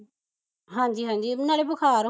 ਹਾਂਜੀ ਹਾਂਜੀ ਨਾਲੇ ਬੁਖਾਰ ਹੋਇਆ